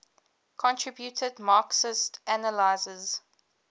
contributed marxist analyses